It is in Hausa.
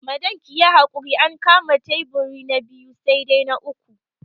Madam kiyi hakuri an kama taiburi na biyu sai dai na uku